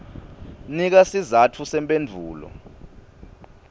nika sizatfu semphendvulo